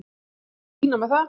Allt í fína með það.